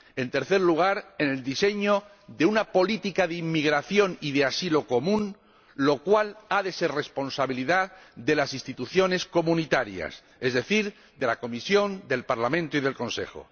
en tercer lugar, en el diseño de una política de inmigración y de asilo común, lo cual ha de ser responsabilidad de las instituciones comunitarias, es decir, de la Comisión, del Parlamento y del Consejo.